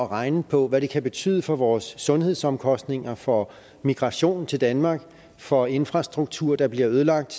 regne på hvad det kan betyde for vores sundhedsomkostninger for migrationen til danmark for infrastruktur der bliver ødelagt